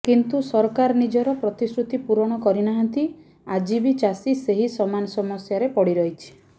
କିନ୍ତୁ ସରକାର ନିଜର ପ୍ରତିଶ୍ରୁତି ପୁରଣ କରିନାହାନ୍ତି ଆଜି ବି ଚାଷୀ ସେହି ସମାନ ସମସ୍ୟାରେ ପଡ଼ି ରହିଛି